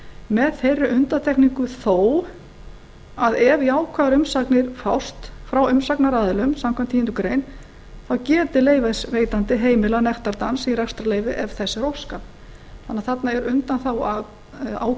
með þeirri undantekningu þó að ef jákvæðar umsagnir fást frá umsagnaraðilum samkvæmt tíundu grein þá geti leyfisveitandi heimilað nektardans í rekstrarleyfi ef þess er óskað þannig að þarna